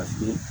Paseke